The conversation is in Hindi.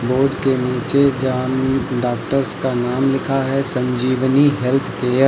बोर्ड के नीचे डॉक्टर्स का नाम लिखा है संजीवनी हेल्थ केयर ।